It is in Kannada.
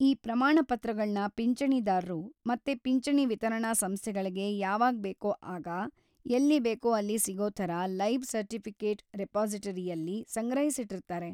ಈ ಪ್ರಮಾಣ ಪತ್ರಗಳ್ನ ಪಿಂಚಣಿದಾರ್ರು ಮತ್ತೆ ‌ಪಿಂಚಣಿ ವಿತರಣಾ ಸಂಸ್ಥೆಗಳ್ಗೆ ಯಾವಾಗ್ಬೇಕೋ ಆಗ, ಎಲ್ಲಿ ಬೇಕೋ ಅಲ್ಲಿ ಸಿಗೋ‌ ಥರ ಲೈಫ್‌ ಸರ್ಟಿಫಿಕೆಟ್‌ ರಿಪಾಸಿಟರಿಯಲ್ಲಿ ಸಂಗ್ರಹಿಸಿಟ್ಟಿರ್ತಾರೆ.